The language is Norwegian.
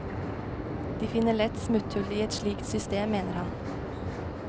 De finner lett smutthull i et slikt system, mener han.